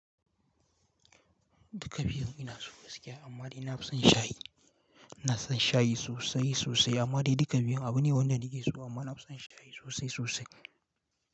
Duka biyun ina so gaskiya amma dai na fi son shayi. Ina son shayi sosai sosai amma dai duka biyun abu ne wanda na ke so amma na fi son shayi sosai sosai.